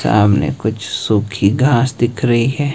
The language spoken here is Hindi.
सामने कुछ सूखी घास दिख रही है।